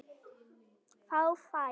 Þá fæst